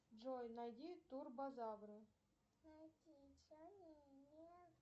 джой найди турбозавры